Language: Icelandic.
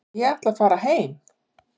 Ég ætla að fara heim.